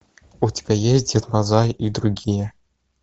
у тебя есть дед мазай и другие